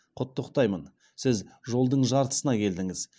құттықтаймын сіз жолдың жартысына келдіңіз